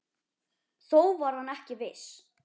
Þó var hann ekki viss.